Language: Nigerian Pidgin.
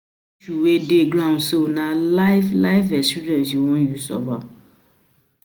dey ground so, na life life experiences u wan use solve am?